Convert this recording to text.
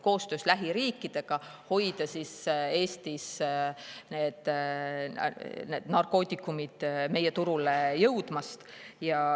Koostöös lähiriikidega püütakse hoida need narkootikumid meie turule jõudmast.